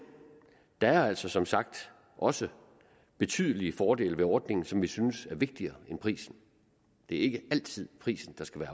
der er altså som sagt også betydelige fordele ved ordningen som vi synes er vigtigere end prisen det er ikke altid prisen der skal